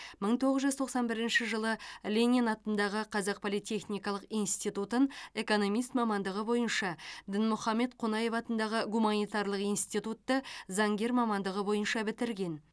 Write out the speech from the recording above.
мың тоғыз жүз тоқсан бірінші жылы ленин атындағы қазақ политехникалық институтын экономист мамандығы бойынша дінмұхаммед қонаев атындағы гуманитарлық институтты заңгер мамандығы бойынша бітірген